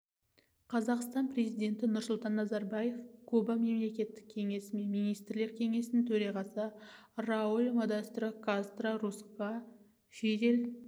қазақстан президенті нұрсұлтан назарбаев куба мемлекеттік кеңесі мен министрлер кеңесінің төрағасы рауль модестро кастро русқа фидель